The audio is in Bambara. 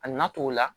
A na to o la